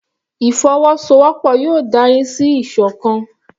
Ìfọwọ́sowọ́pọ̀ yóò dárí sí ìsọ̀kan.